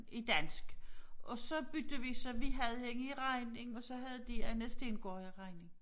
I dansk og så byttede vi så vi havde hende i regning og så havde de Anne Stengaard i regning